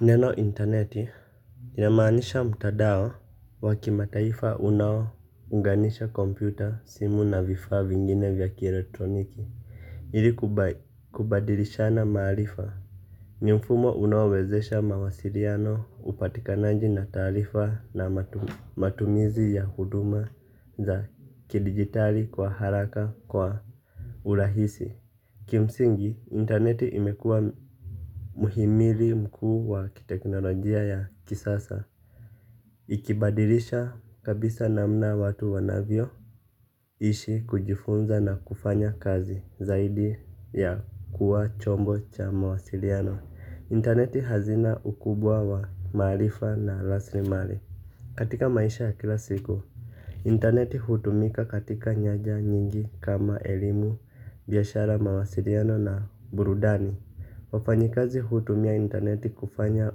Neno interneti linamaanisha mtandao wa kimataifa unaounganisha kompyuta, simu na vifaa vingine vya kielektroniki ili kubadilishana maarifa. Ni mfumo unaowezesha mawasiliano, upatikanaji na taarifa na matumizi ya huduma za kidijitali kwa haraka, kwa urahisi. Kimsingi, interneti imekuwa muhimili mkuu wa kiteknolojia ya kisasa. Ikibadilisha kabisa namna watu wanavyoishi, kujifunza na kufanya kazi, zaidi ya kuwa chombo cha mawasiliano. Interneti ni hazina kubwa ya maarifa na rasilimali. Katika maisha ya kila siku, interneti hutumika katika nyanja nyingi kama elimu, biashara, mawasiliano na burudani. Wafanyakazi hutumia interneti kufanya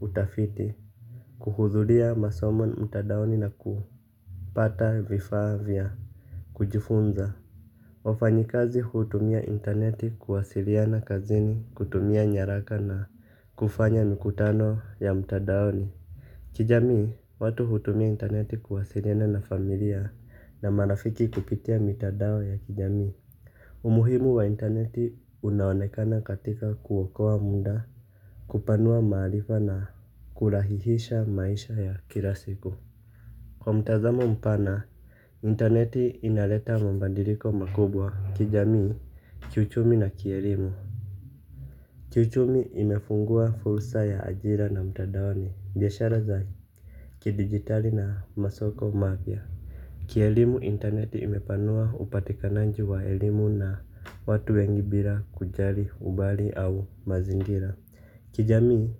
utafiti, kuhudhuria masomo mtandaoni na kupata vifaa vya kujifunzia. Wafanyakazi hutumia interneti kuwasiliana kazini, kutumia nyaraka na kufanya mikutano ya mtandaoni. Kijamii, watu hutumia interneti kuwasiliana na familia na marafiki kupitia mitandao ya kijamii. Umuhimu wa interneti unaonekana katika kuokoa muda, kupanua maarifa na kurahisisha maisha ya kila siku. Kwa mtazamo mpana, interneti inaleta mabadiliko makubwa kijamii, kiuchumi na kielimu. Kiuchumi, imefungua fursa ya ajira mtandaoni, biashara za kidijitali na masoko mapya. Kielimu, interneti imepanua upatikanaji wa elimu na watu wengi bila kujali umbali au mazingira. Kijamii,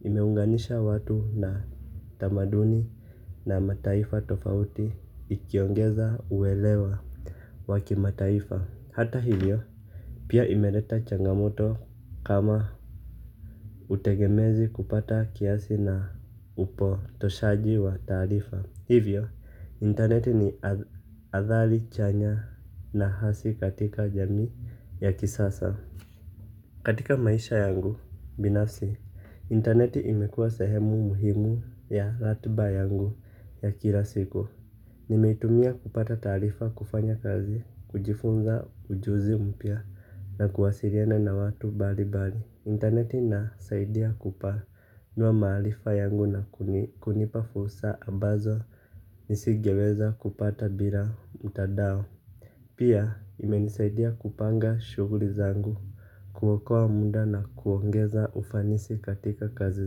imeunganisha watu na tamaduni na mataifa tofauti ikiongeza uelewa wa kimataifa. Hata hivyo, pia imeleta changamoto. Kama utegemezi kupita kiasi na upotoshaji wa taarifa. Hivyo, interneti ina athari chanya na hasi katika jamii ya kisasa. Katika maisha yangu binafsi, interneti imekuwa sehemu muhimu ya ratiba yangu ya kila siku. Nimeitumia kupata taarifa, kufanya kazi, kujifunza ujuzi mpya na kuwasiliana na watu mbalimbali. Interneti inasaidia kupanua maarifa yangu na kunipa fursa ambazo nisingeweza kupata bila mtandao. Pia imenisaidia kupanga shughuli zangu, kuokoa muda na kuongeza ufanisi katika kazi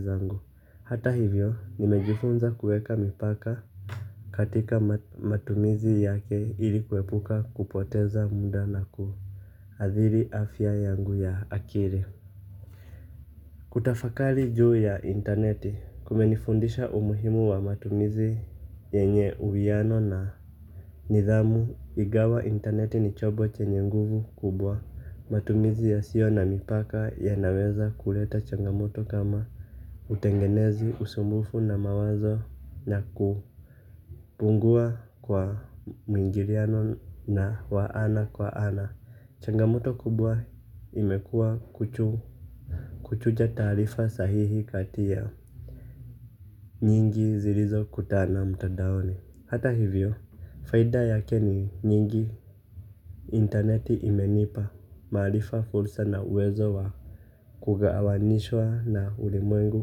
zangu. Hata hivyo, nimejifunza kuweka mipaka katika matumizi yake ili kuepuka kupoteza muda na kuathiri afya yangu ya akili. Kutafakari juu ya interneti kumenifundisha umuhimu wa matumizi yenye uwiano na nidhamu, ingawa interneti ni chombo chenye nguvu kubwa. Matumizi yasiyo na mipaka yanaweza kuleta changamoto kama utegemezi, usumbufu wa mawazo na kupungua kwa mwingiliano wa ana kwa ana. Changamoto kubwa imekuwa kuchuja taarifa sahihi kati ya nyingi zilizokutana mtandaoni. Hata hivyo, faida yake ni nyingi. Interneti imenipa maarifa, fursa na uwezo wa kuunganishwa na ulimwengu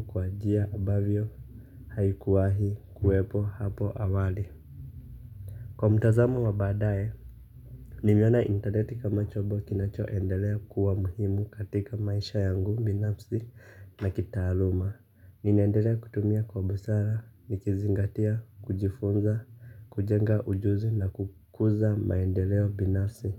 kwa njia ambazo haikuwahi kuwepo hapo awali. Kwa mtazamo wa baadaye, ninaiona interneti kama chombo kinachoendelea kuwa muhimu katika maisha yangu binafsi na kitaaluma. Ninaendelea kutumia kwa busara, nikizingatia kujifunza, kujenga ujuzi na kukuza maendeleo binafsi.